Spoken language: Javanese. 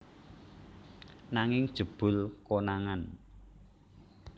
Nanging jebul konangan